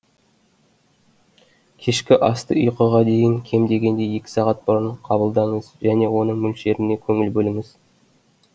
кешкі асты ұйқыға дейін кем дегенде екі сағат бұрын қабылдаңыз және оның мөлшеріне көңіл бөліңіз